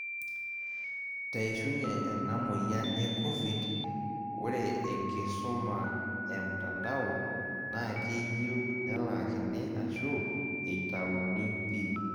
Teishunye ena moyian e Covid, ore enkisuma emtandao na keyiuu nelaakini ashu eitayuni pii.